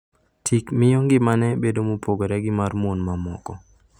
Tik miyo ngimane bedo mopogore gi mar mon mamoko